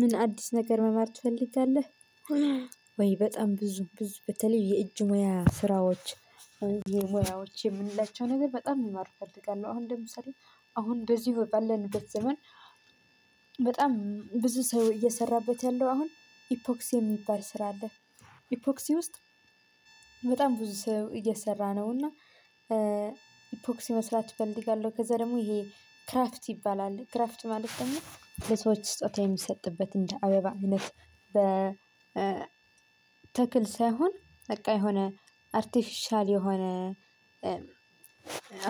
ምን አዲስ ነገር መማር ትፈልጋለህ? ወይ በጣም ብዙ ብዙ በተለይ የእጅ ሙያ ስራዎች የምንላቸው ነገር በጣም መማር እፈልጋለሁ። አሁን ለምሳሌ አሁን እንደዚህ ባለንበት ዘመን በጣም ብዙ ሰው እየሰራበት ያለው አሁን ኢፖክስ የሚባል ስራ አለ። ኢፖክሲ ውስጥ በጣም ብዙ ሰው እየሰራ ነው እና ኢፖክሲ መስራት ፈልጋለው። ከዛ ደግሞ ይሄ ክራፍት ይባላል ክራፍት ማለት ደግሞ ለሰዎች ስጦታ የሚሰጥበት እንደ አበባ አይነት በ ተክል ሳይሆን በቃ የሆነ አርቲፊሻል የሆነ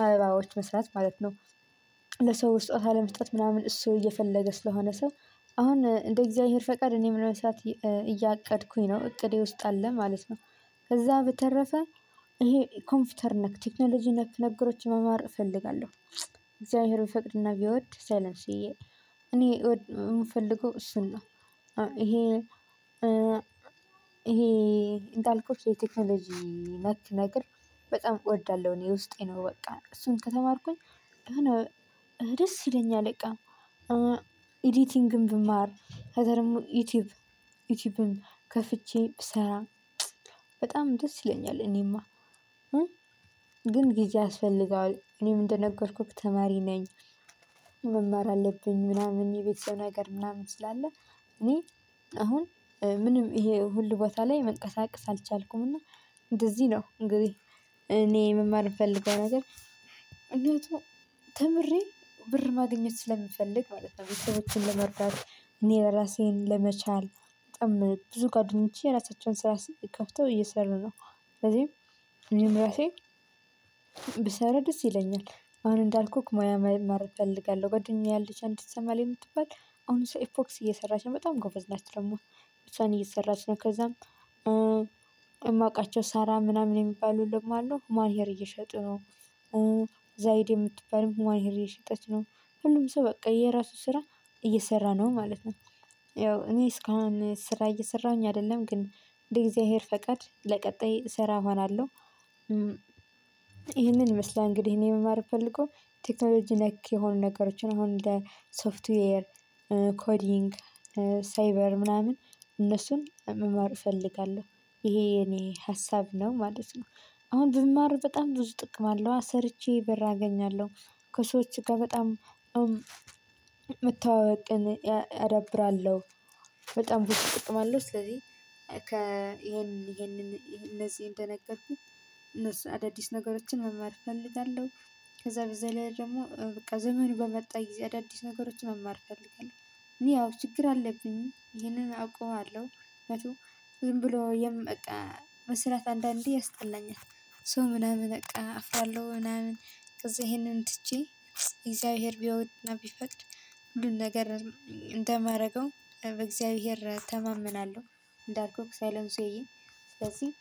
አበባዎች መስራት ማለት ነው። ለሰው ስጦታ አለመስጠት ምናምን እሱ እየፈለገ ስለሆነ ሰው አሁን እንደ እግዚአብሔር ፈቃድ እኔም ለመስራት እያቀድኩኝ ነው እቅዴ ውስጥ አለ ማለት ነው። ከዛ በተረፈ ይሄ ኮምፒውተር ነክ ቴክኖሎጂ ነክ ነገሮችን መማር እፈልጋለሁ። እግዚአብሔር ቢፈቅድና ቢወድ ዘነብስዬ እኔ የምፈልገው እሱን ነው። ይሄ ይሄ እንዳልኩት የቴክኖሎጂ ነክ ነገር በጣም እወዳለሁ እኔ ውስጤ ነው በቃ እሱን ከተማርኩኝ የሆነ ደስ ይለኛል። በቃ ኤዲቲንግም ብማር ከዛ ደግሞ ዩቲዩብ ዩቲዩብን ከፍቼ ብሰራ በጣም ደስ ይለኛል። እኔማ ግን ጊዜ ያስፈልጋል እኔም እንደነገርኩክ ተማሪ ነኝ። መማር አለብኝ ምናምን የቤተሰብ ነገር ምናምን ስላለ እኔ አሁን ምንም ይሄ ሁሉ ቦታ ላይ መንቀሳቀስ አልቻልኩምና። እንደዚህ ነው እንግዲህ እኔ መማር ምፈልገው ነገር ተምሬ ብር ማግኘት ስለሚፈልግ ማለት ነው። ቤተሰቦችን ለመርዳት እኔ እራሴን ለመቻል በጣም ብዙ ጓደኞቼ የራሳቸውን ስራ ከፍተው እየሰሩ ነው። ስለዚህ እኔም ራሴ ብሰራ ድስ ይለኛል። አሁን እንዳልኩክ ሙያ መማር እፈልጋለሁ። ጓደኛዬ ያለች አንድ ትሰማሃል የምትባል አሁን እሷ ኢፖክሲ እየሰራች ነው በጣም ጎበዝ ናት። ደግሞ እሷን እየሰራች ነው ከዛም የማውቃቸው ሳራ ምናምን የሚባሉ ደግሞ አሉ ማርየር እየሸጡ ነው። ዛይድ የምትባልም ሟሂር እየሸጠች ነው። ሁሉም ሰው በቃ የራሱ ስራ እየሰራ ነው ማለት ነው። ያው እኔ እስካሁን ስራ እየሰራሁኝ አይደለም ግን የእግዚአብሔር ፈቃድ ለቀጣይ እሰራ እሆናለሁ። ይህንን ይመስላል እንግዲህ እኔ መማር ምፈልገው ቴክኖሎጂ ነክ የሆኑ ነገሮችን አሁን እንደ ሶፍትዌር ኮዲንግ ሳይበር ምናምን እነሱን መማር እፈልጋለሁ። ይሄ የኔ ሀሳብ ነው ማለት ነው። አሁን ብማር በጣም ብዙ ጥቅም አለዋ ሰርቼ በር አገኛለሁ። ከሰዎች ጋር በጣም መተዋወቅን አዳብራለሁ። በጣም ብዙ ጥቅም አለው። ስለዚህ ከ ኢሄንን ኢሄንን እነዚህ እንደነገርኩክ አዳዲስ ነገሮችን መማር እፈልጋለሁ። ከዛ በዛ ላይ ደግሞ በቃ ዘመን በመጣ ጊዜ አዳዲስ ነገሮችን መማር እፈልጋለሁ እኔ ያው ችግር አለብኝ ይሄንን አውቀዋለሁ። ዝም ብሎ የም በቃ መስራት አንዳንዴ ያስጠላኛል። ሰው ምናምን በቃ አፍራለሁ ምናምን ከዛ ይሄንን ትቼ እግዚአብሔር ቢወድና ቢፈቅድ ሁሉን ነገር እንደማደርገው በእግዚአብሔር እተማመናለሁ። እንዳልኩህ ሳይለንሲዮዬ ስለዚህ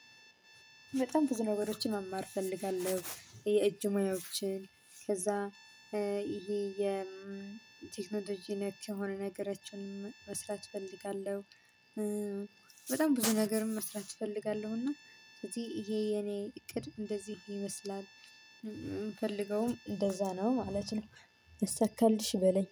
በጣም ብዙ ነገሮችን መማር እፈልጋለሁ። የእጅ ሙያዎችን ከዛ ይሄ የቴክኖሎጂ ነክ የሆነ ነገሮችን መስራት እፈልጋለሁ። በጣም ብዙ ነገርም መስራት እፈልጋለሁ። እና ስለዚህ ይሄ የኔ እቅድ እንደዚህ ይመስላል። የምፈልገውም እንደዛ ነው ማለት ነው። ይሰካልሽ በለኝ